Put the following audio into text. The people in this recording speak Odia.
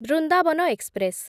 ବ୍ରିନ୍ଦଭନ ଏକ୍ସପ୍ରେସ୍